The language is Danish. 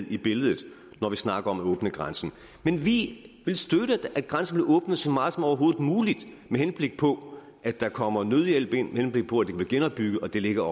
i billedet når vi snakker om at åbne grænsen men vi vil støtte at grænsen bliver åbnet så meget som overhovedet muligt med henblik på at der kommer nødhjælp ind med henblik på at det kan blive genopbygget og det ligger